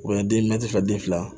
U ye den den fila